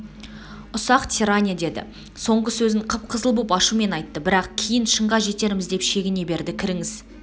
ұсақ тирания деді соңғы сөзін қып-қызыл боп ашумен айтты бірақ кейін шынға жетерміз деп шегіне берді кіріңіз